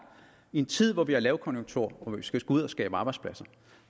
i en tid hvor vi har lavkonjunktur og vi skal ud at skabe arbejdspladser